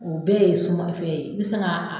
O bɛɛ ye suman fɛn ye i bɛ se ka